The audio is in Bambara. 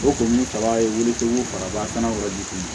O kun ye kaba ye cogo o kaba kana wari di